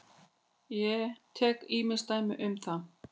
Ég tek ýmis dæmi um það.